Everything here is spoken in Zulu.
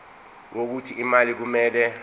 wokuthi imali kumele